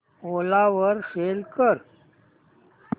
ओला वर सेल कर